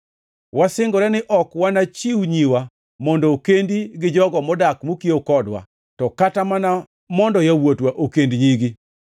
“Wasingore ni ok wanachiw nyiwa mondo okendi gi jogo modak mokiewo kodwa to kata mana mondo yawuotwa okend nyigi.